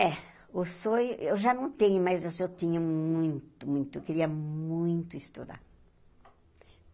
É, o sonho eu já não tenho, mas eu tinha muito, muito, eu queria muito estudar.